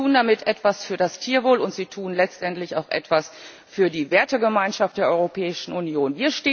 Sie tun damit etwas für das Tierwohl, und Sie tun letztendlich auch etwas für die Wertegemeinschaft der Europäischen Union.